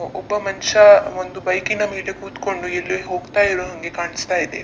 ಒಬ್ಬ ಮನುಷ್ಯ ಬೈಕ್ ನ ಮೇಲೆ ಕೂತುಕೊಂಡು ಎಲ್ಲೋ ಹೋಗುತ್ತಿರುವ ಹಾಗೆ ಕಾಣಿಸ್ತಾ ಇದೆ.